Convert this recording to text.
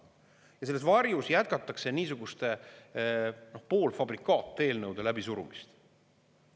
Ja selles varjus jätkatakse niisuguste poolfabrikaateelnõude läbisurumist.